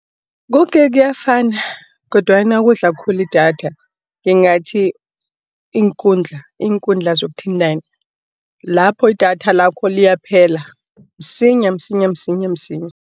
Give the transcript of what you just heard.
Koke kuyafana, kodwana okudla khulu idatha ngingathi, iinkundla zokuthintana, lapho idatha lakho liyaphela msinya, msinya, msinya msinya.